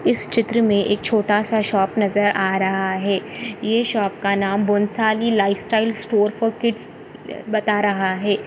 इस चित्र मे एक छोटा सा शॉप नजर आ रहा है ये शॉप का नाम Bonsali lifestyle store for kids बता रहा है।